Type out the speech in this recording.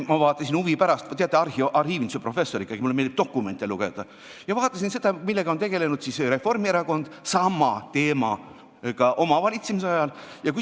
Ma vaatasin huvi pärast – teate, arhiivinduse professor ikkagi, mulle meeldib dokumente lugeda –, millega on tegelenud Reformierakond oma valitsemise ajal.